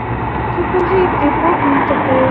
Hugtök og heiti bókmenntafræði.